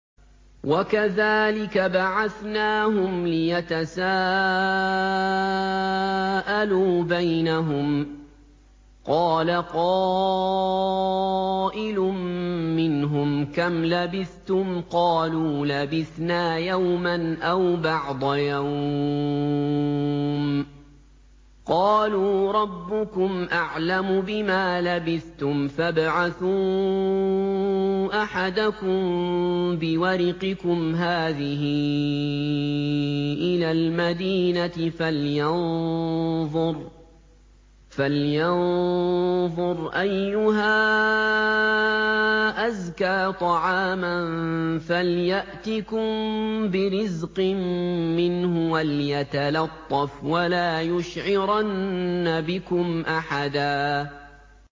وَكَذَٰلِكَ بَعَثْنَاهُمْ لِيَتَسَاءَلُوا بَيْنَهُمْ ۚ قَالَ قَائِلٌ مِّنْهُمْ كَمْ لَبِثْتُمْ ۖ قَالُوا لَبِثْنَا يَوْمًا أَوْ بَعْضَ يَوْمٍ ۚ قَالُوا رَبُّكُمْ أَعْلَمُ بِمَا لَبِثْتُمْ فَابْعَثُوا أَحَدَكُم بِوَرِقِكُمْ هَٰذِهِ إِلَى الْمَدِينَةِ فَلْيَنظُرْ أَيُّهَا أَزْكَىٰ طَعَامًا فَلْيَأْتِكُم بِرِزْقٍ مِّنْهُ وَلْيَتَلَطَّفْ وَلَا يُشْعِرَنَّ بِكُمْ أَحَدًا